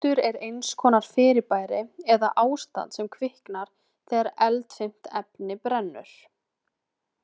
Eldur er eins konar fyrirbæri eða ástand sem kviknar þegar eldfimt efni brennur.